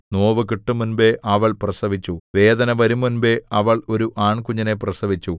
നോവു കിട്ടുംമുമ്പ് അവൾ പ്രസവിച്ചു വേദന വരുംമുമ്പ് അവൾ ഒരു ആൺകുഞ്ഞിനെ പ്രസവിച്ചു